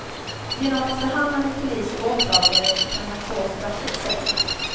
Genom att förhandla med polis och åklagare kan han få straffet sänkt.